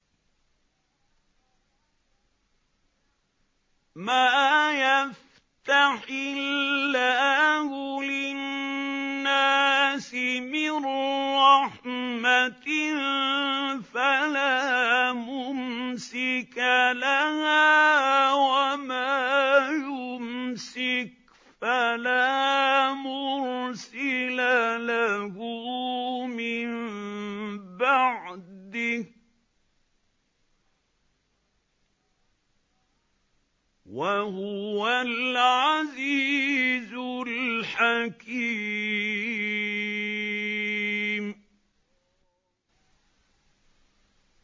مَّا يَفْتَحِ اللَّهُ لِلنَّاسِ مِن رَّحْمَةٍ فَلَا مُمْسِكَ لَهَا ۖ وَمَا يُمْسِكْ فَلَا مُرْسِلَ لَهُ مِن بَعْدِهِ ۚ وَهُوَ الْعَزِيزُ الْحَكِيمُ